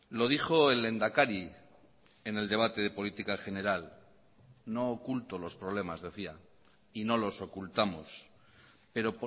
lo dijo el lehendakari en el debate de política general no oculto los problemas decía y no los ocultamos pero